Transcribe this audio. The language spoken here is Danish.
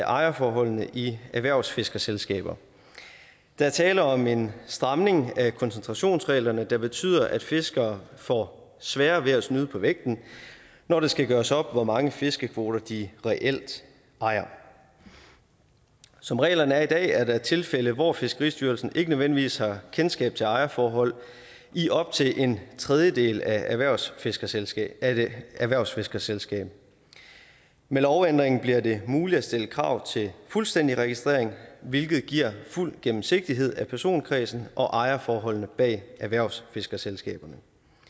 ejerforholdene i erhvervsfiskerselskaber der er tale om en stramning af koncentrationsreglerne der betyder at fiskere får sværere ved at snyde på vægten når det skal gøres op hvor mange fiskekvoter de reelt ejer som reglerne er i dag er der tilfælde hvor fiskeristyrelsen ikke nødvendigvis har kendskab til ejerforhold i op til en tredjedel af et erhvervsfiskerselskab erhvervsfiskerselskab med lovændringen bliver det muligt at stille krav til fuldstændig registrering hvilket giver fuld gennemsigtighed i personkredsen og ejerforholdene bag erhvervsfiskerselskaberne